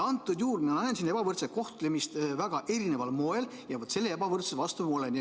Antud juhul mina näengi siin ebavõrdset kohtlemist väga erisugusel moel ja selle ebavõrdsuse vastu ma olen.